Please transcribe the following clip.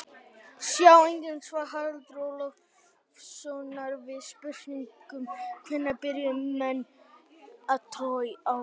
Sjá einnig svar Haraldar Ólafssonar við spurningunni Hvenær byrjuðu menn að trúa á guð?